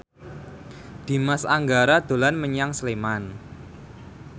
Dimas Anggara dolan menyang Sleman